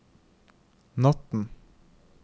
natten